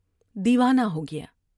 دیوانہ ہو گیا ۔